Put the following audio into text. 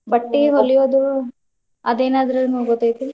ಬಟ್ಟಿ ಹೊಲಿಯೋದು ಅದೇನಾದ್ರು ಗೊತ್ತೈತಿ.